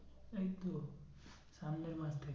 এই তো সামনের মাস থেকে।